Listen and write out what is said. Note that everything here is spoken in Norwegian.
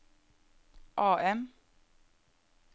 AM